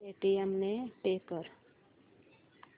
Paytm ने pay कर